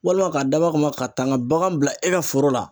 Walima k'a dabɔ a kama ka taa n ka bagan bila e ka foro la.